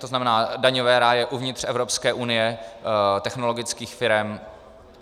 To znamená daňové ráje uvnitř Evropské unie technologických firem.